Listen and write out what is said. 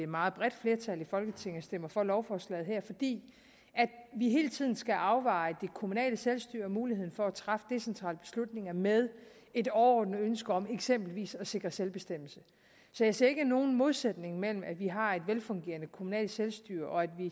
meget bredt flertal i folketinget stemmer for lovforslaget her altså fordi vi hele tiden skal afveje det kommunale selvstyre og muligheden for at træffe decentrale beslutninger med et overordnet ønske om eksempelvis at sikre selvbestemmelse så jeg ser ikke nogen modsætning mellem at vi har et velfungerende kommunalt selvstyre og at vi